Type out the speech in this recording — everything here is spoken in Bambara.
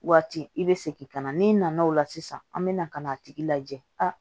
Waati i bɛ segin ka na n'i nana o la sisan an bɛ na ka n'a tigi lajɛ a